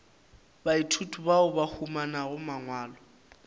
baithuti bao ba humanago mangwalo